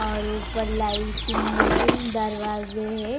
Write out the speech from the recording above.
और ऊपर लाइटिंग है दरवाजे है.